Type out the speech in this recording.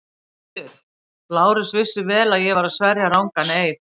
GVENDUR: Lárus vissi vel að ég var að sverja rangan eið.